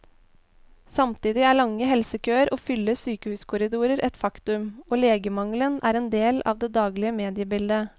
Samtidig er lange helsekøer og fulle sykehuskorridorer et faktum, og legemangelen er en del av det daglige mediebildet.